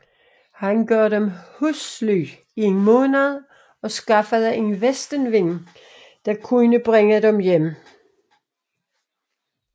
Han gav dem husly i en måned og skaffede en vestenvind der kunne bringe dem hjem